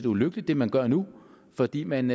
ulykkeligt hvad man gør nu fordi man